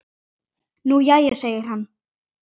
Nú jæja segir hann.